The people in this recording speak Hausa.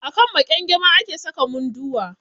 A kan maƙyangyama ake saka Munduwa.